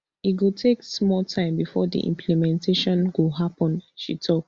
e go take small time bifor di implementation go happen she tok